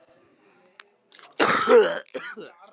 Hún situr við eldhúsborðið og borðar vínber.